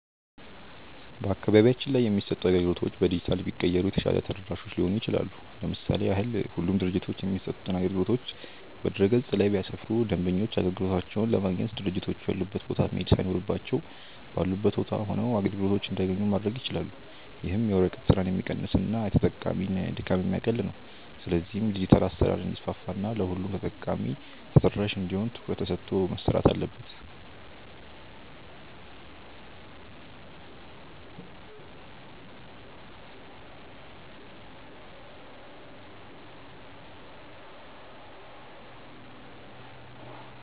በአካባቢያችን ላይ የሚሰጡ አገልግሎቶች በዲጂታል ቢቀየሩ የተሻለ ተደራሾች ሊሆኑ ይችላሉ። ለምሳሌ ያህል ሁሉም ድርጅቶች የሚሰጡትን አገልግሎቶች በድረ-ገጽ ላይ ቢያሰፍሩ ደንበኞች አገልግሎቶቻቸውን ለማግኘት ድርጅቶቹ ያሉበት ቦታ መሄድ ሳይኖርባቸው ባሉበት ቦታ ሆነው አገልግሎቶችን እንዲያገኙ ማድረግ ይችላሉ። ይህም የወረቀት ስራን ሚቀንስና የተጠቃሚ ድካም የሚያቀል ነው። ስለዚህም ዲጂታል አሰራር እንዲስፋፋ እና ለሁሉም ተጠቃሚ ተደራሽ እንዲሆን ትኩረት ተሰጥቶ መሰረት አለበት።